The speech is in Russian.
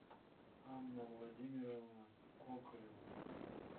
анна владимировна кокорева